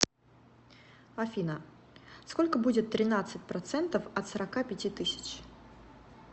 афина сколько будет тринадцать процентов от сорока пяти тысяч